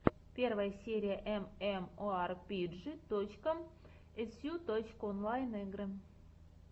первая серия эмэмоарпиджи точка эсю точка онлайн игры